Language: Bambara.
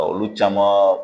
Olu caman